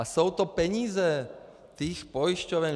A jsou to peníze těch pojišťoven!